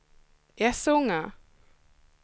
Essunga